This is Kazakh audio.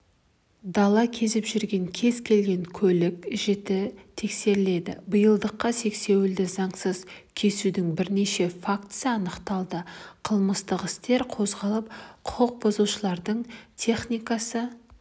дала кезіп жүрген кез келген көлік жіті тексеріледі биылдыққа сексеуілді заңсыз кесудің бірнеше фактісі анықталды қылмыстық істер қозғалып құқық бұзушылардың техникасы